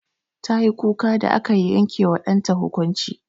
Tayi kuka da aka yanke wa ɗanta hukunci.